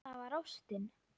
Það var ástin.